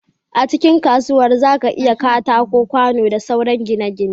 A cikin kasuwar zaka iyya katako kwano da sauran kayan gine gine